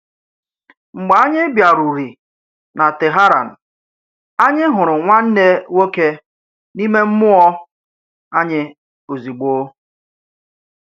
Mgbe ányị̀ bịàrùrị̀ nà Téháràn, ányị̀ hụrụ̀ nwanne nwoke n’ìmè mmúọ́ ányị̀ òzìgbò